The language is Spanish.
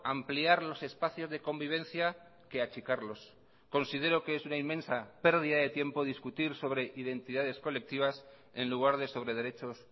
ampliar los espacios de convivencia que achicarlos considero que es una inmensa pérdida de tiempo discutir sobre identidades colectivas en lugar de sobre derechos